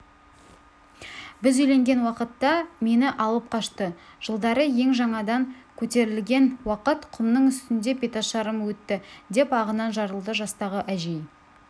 біз үйленген уақытта мені алып қашты жылдары ел жаңадан көтерілген уақыт құмның үстінде беташарым өтті деп ағынан жарылды жастағы әжей